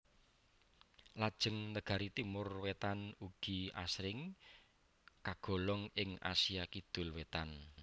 Lajeng negari Timor Wétan ugi asring kagolong ing Asia Kidul Wétan